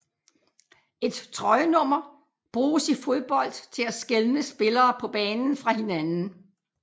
Et trøjenummer bruges i fodbold til at skelne spillere på banen fra hinanden